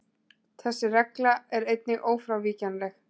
Þessi regla er einnig ófrávíkjanleg.